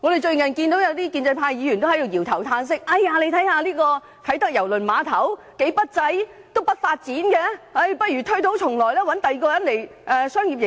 最近有些建制派議員在搖頭嘆息，認為啟德郵輪碼頭非常不濟，欠缺發展，有意推倒重來，另找他人作商業營運。